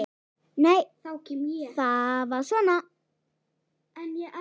Nei, það var svona!